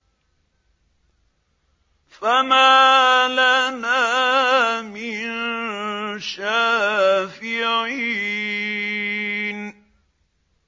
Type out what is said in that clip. فَمَا لَنَا مِن شَافِعِينَ